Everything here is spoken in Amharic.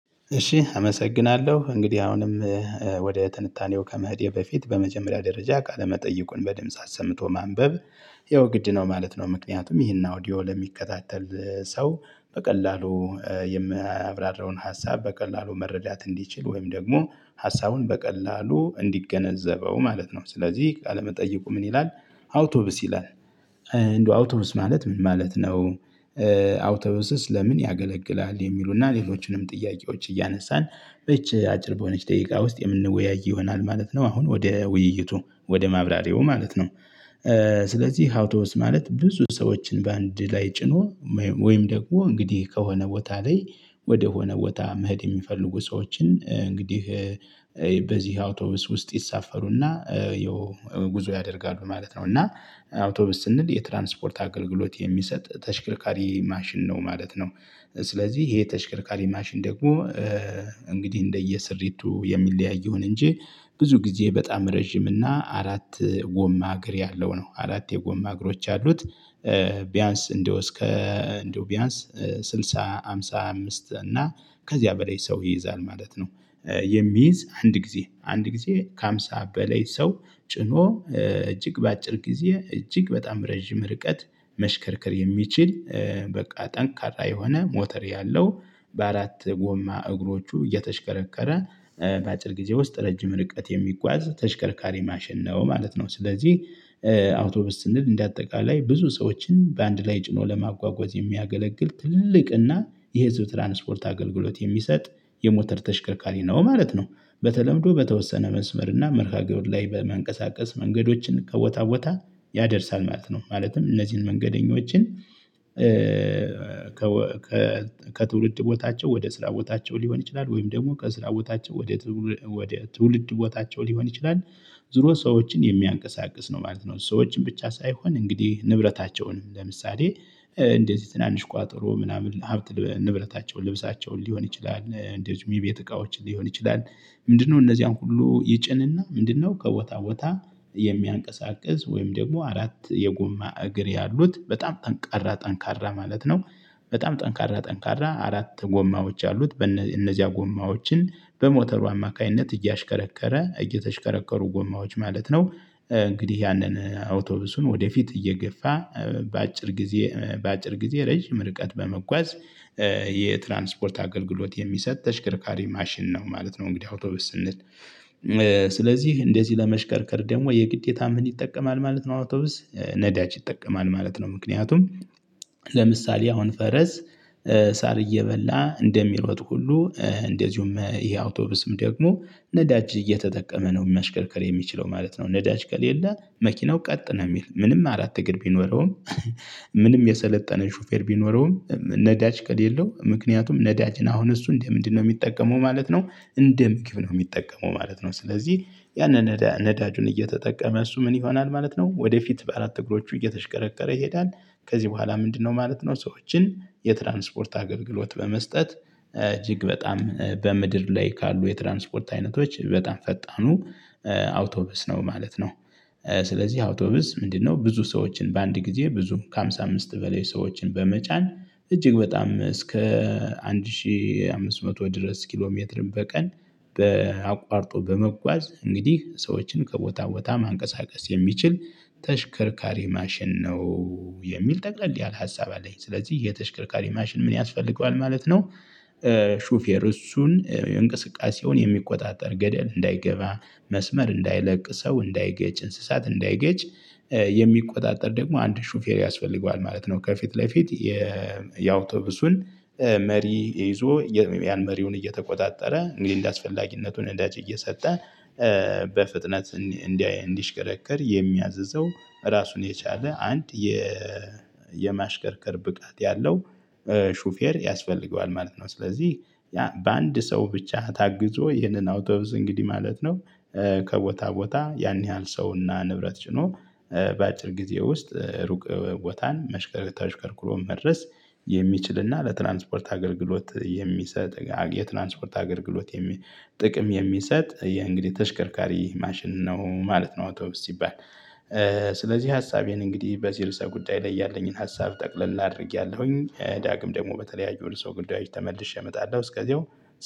እሺ አመሰግናለሁ እንግዲህ አሁንም ወደ ትንታኔው ከመሄዴ በፊት በመጀመሪያ ደረጃ ቃለ መጠይቁን በድምጽ አሰምቶ ማንበብ ይኸው ግድ ነው ማለት ነው። ምክንያቱም ይሄን አውዲዮ ለሚከታተል ሰው በቀላሉ የማያብራራውን ሀሳብ በቀላሉ መረዳት እንዲችል ወይም ደግሞ ሀሳቡን በቀላሉ እንዲገነዘበው ማለት ነው። ስለዚህ ቃለመጠየቁ ምን ይላል? አውቶብስ ይላል። እንደው አውቶብስ ማለት ምን ማለት ነው? አውቶብስስ ለምን ያገለግላል የሚሉና ሌሎችንም ጥያቄዎች እያነሳን በእቺ አጭር በሆነች ደቂቃ ውስጥ የምንወያይ ይሆናል ማለት ነው። አሁን ወደ ውይይቱ ወደ ማብራሪያው ማለት ነው። ስለዚህ አውቶብስ ማለት ብዙ ሰዎችን በአንድ ላይ ጭኖ ወይም ደግሞ እንግዲህ ከሆነ ቦታ ላይ ወደሆነ ቦታ መሄድ የሚፈልጉ ሰዎችን እንግዲህ በዚህ አውቶቡስ ውስጥ ይሳፈሩና ይኸው ጉዞ ያደርጋሉ ማለት ነው። እና አውቶቡስ ስንል የትራንስፖርት አገልግሎት የሚሰጥ ተሽከርካሪ ማሽን ነው ማለት ነው። ስለዚህ ይሄ ተሽከርካሪ ማሽን ደግሞ እንግዲህ እንደየ ስሪቱ የሚለያየውን ይሆን እንጂ ብዙ ጊዜ በጣም ረጅም እና አራት ጎማ እግር ያለው ነው አራቴ የጎማ እግሮች ያሉት። ቢያንስ እንደው እስከ እንደው ቢያንስ ስልሳ ሃምሳ አምስት እና ከዚያ በላይ ሰው ይይዛል ማለት ነው። የሚይዝ አንድ ጊዜ አንድ ጊዜ ከሃምሳ በላይ ሰው ጭኖ እጅግ በአጭር ጊዜ እጅግ በጣም ረጅም ርቀት መሽከርክር የሚችል በቃ ጠንካራ የሆነ ሞተር ያለው በአራት ጎማ እግሮቹ እየተሽከረከረ በአጭር ጊዜ ውስጥ ረጅም ርቀት የሚጓዝ ተሽከርካሪ ማሽን ነው ማለት ነው። ስለዚህ አውቶብስ ስንል እንደ አጠቃላይ ብዙ ሰዎችን በአንድ ላይ ጭኖ ለማጓጓዝ የሚያገለግል ትልቅና የህዝብ ትራንስፖርት አገልግሎት የሚሰጥ የሞተር ተሽከርካሪ ነው ማለት ነው። በተለምዶ በተወሰነ መንስመር እና መርሃ ግብር ላይ በመንቀሳቀስ መንገዶችን ከቦታ ቦታ ያደርሳል ማለት ነው። ማለትም እነዚህን መንገደኞችን ከ ከ ከትውልድ ቦታቸው ወደ ስራ ቦታቸው ሊሆን ይችላል ወይም ደግሞ ከስራ ቦታቸው ወደ ትውልድ ቦታቸው ሊሆን ይችላል ዙሮ ሰዎችን የሚያንቀሳቅስ ነው ማለት ነው። ሰዎችን ብቻ ሳይሆን እንግዲህ ንብረታቸውንም ለምሳሌ እንደዚህ ትናንሽ ቋጠሮ ምናምን ሀብት ንብረታቸው ልብሳቸውን ሊሆን ይችላል እንደውም የቤት እቃዎችን ሊሆን ይችላል። ምንድነው እነዚያን ሁሉ ይጭንና ምንድነው ከቦታ ቦታ የሚያንቀሳቅስ ወይም ደግሞ አራት የጎማ እግር ያሉት በጣም ጠንካራ ጠንካራ ማለት ነው። በጣም ጠንካራ ጠንካራ አራት ጎማዎች ያሉት እነዚያ ጎማዎችን በሞተሩ አማካኝነት እያሽከረከረ እየተሽከረከሩ ጎማዎች ማለት ነው። እንግዲህ ያንን አውቶቡሱን ወደፊት እየገፋ በአጭር ጊዜ በአጭር ጊዜ ረጅም ርቀት በመጓዝ የትራንስፖርት አገልግሎት የሚሰጥ ተሽከርካሪ ማሽን ነው ማለት ነው። እንግዲህ አውቶቡስ ስንል ስለዚህ እንደዚህ ለመሽከርከር ደግሞ የግዴታም ምን ይጠቀማል ማለት ነው አውቶብስ ነዳጅ ይጠቀማል ማለት ነው። ምክንያቱም ለምሳሌ አሁን ፈረስ ሳር እየበላ እንደሚሮጥ ሁሉ እንደዚሁም ይሄ አውቶቡስም ደግሞ ነዳጅ እየተጠቀመ ነው መሽከርከር የሚችለው ማለት ነው። ነዳጅ ከሌለ መኪናው ቀጥ ነው የሚል ምንም አላት እግር ቢኖረውም ምንም የሰለጠነ ሹፌር ቢኖረውም ነዳጅ ከሌለው ምክንያቱም ነዳጅን አሁን እሱ እንደ ምንድነው የሚጠቀመው ማለት ነው እንደ ምግብ ነው የሚጠቀመው ማለት ነው። ስለዚህ ያንን ነዳጁን እየተጠቀመ እሱ ምን ይሆናል ማለት ነው ወደፊት በአራት እግሮቹ እየተሽከረከረ ይሄዳል። ከዚህ በኋላ ምንድነው ማለት ነው ሰዎችን የትራንስፖርት አገልግሎት በመስጠት እጅግ በጣም በምድር ላይ ካሉ የትራንስፖርት አይነቶች በጣም ፈጣኑ አውቶብስ ነው ማለት ነው። ስለዚህ አውቶብስ ምንድነው ብዙ ሰዎችን በአንድ ጊዜ ብዙ ከሃምሳ አምስት በላይ ሰዎችን በመጫን እጅግ በጣም እስከ አንድ ሺህ አምስት መቶ ድረስ ኪሎ ሜትር በቀን በ አቋርጦ በመጓዝ እንግዲህ ሰዎችን ከቦታ ቦታ ማንቀሳቀስ የሚችል ተሽከርካሪ ማሽን ነው። የሚል ጠቅለል ያለ ሀሳብ አለኝ ስለዚህ የተሽከርካሪ ማሽን ምን ያስፈልገዋል ማለት ነው? ሹፌር እሱን እንቅስቃሴውን የሚቆጣጠር ገደል እንዳይገባ መስመር እንዳይለቅ ሰው እንዳይገጭ እንስሳት እንዳይገጭ የሚቆጣጠር ደግሞ አንድ ሹፌር ያስፈልገዋል ማለት ነው። ከፊት ለፊት የአውቶቡሱን መሪ ይዞ ያን መሪውን እየተቆጣጠረ እንደ አስፈላጊነቱን ነዳጅ እየሰጠ በፍጥነት እንዲሽከረከር የሚያዝዘው ራሱን የቻለ አንድ የማሽከርከር ብቃት ያለው ሹፌር ያስፈልገዋል ማለት ነው። ስለዚህ ያ በአንድ ሰው ብቻ ታግዞ ይህንን አውጥብስ እንግዲህ ማለት ነው። ከቦታ ቦታ ያን ያህል ሰው እና ንብረት ጭኖ በአጭር ጊዜ ውስጥ ሩቅ ቦታን ተሽከርክሮ መድረስ የሚችልና ለትራንስፖርት አገልግሎት የሚሰጥ የትራንስፖርት አገልግሎት ጥቅም የሚሰጥ የእንግዲህ ተሽከርካሪ ማሽን ነው ማለት ነው። አውቶቡስ ሲባል ስለዚህ ሀሳቤን እንግዲህ በዚህ ርዕሰ ጉዳይ ላይ ያለኝን ሀሳብ ጠቅለል አድርጌያለሁኝ ዳግም ደግሞ በተለያዩ ሰው ጉዳዬች ተመልሼ እመጣለሁ እስከዚያው